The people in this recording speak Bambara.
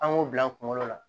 An k'o bila an kunkolo la